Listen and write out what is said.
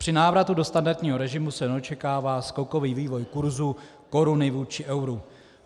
Při návratu do standardního režimu se neočekává skokový vývoj kurzu koruny vůči euru.